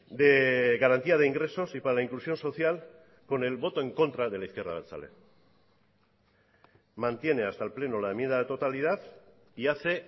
de garantía de ingresos y para la inclusión social con el voto en contra de la izquierda abertzale mantiene hasta el pleno la enmienda de totalidad y hace